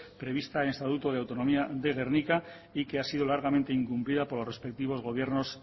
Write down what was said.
prevista en el estatuto de autonomía de gernika y que ha sido largamente incumplida por los respectivos gobiernos